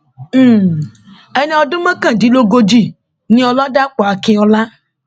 um ẹni ọdún mọkàndínlógójì ni ọlàdàpọ akínọlá